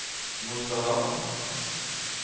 Mosterhamn